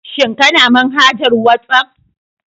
Shin Kana manhajar WhatsApp?